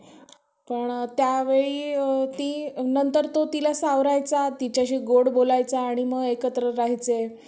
पण त्यावेळी ती नंतर तो तिला सावरायचा तिच्याशी गोड बोलायचा आणि मग एकत्र राहायचे.